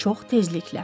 Çox təzliklə.